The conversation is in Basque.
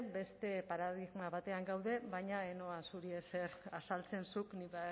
beste paradigma batean gaude baina ez noa zuri ezer azaltzen zuk nik